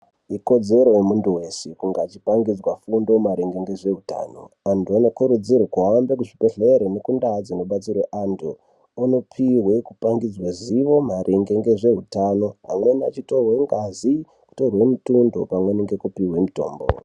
Ikodzero yemuntu veshe kungaachipangidzwa fundo maringe ngezveutano. Antu anokurudzirwe kuhamba kuzvibhedhlere nekundaa dzinobatsirwe antu onopihwe kupangidzwe zivo maringe nezveutano. Amweni achitorwe ngazi, achitorwe mutundo pamweni ngekupihwe mutombo.